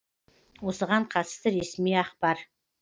осыған қатысты ресми ақпар